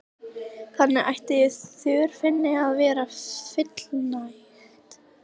Þannig ætti þörfinni að verða fullnægt.